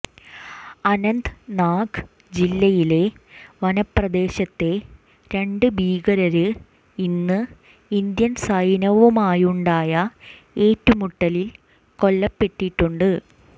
അനന്ത്നാഗ് ജില്ലയിലെ വനപ്രദേശത്ത് രണ്ട് ഭീകരര് ഇന്ന് ഇന്ത്യൻ സൈന്യവുമായുണ്ടായ ഏറ്റുമുട്ടലിൽ കൊല്ലപ്പെട്ടിട്ടുണ്ട്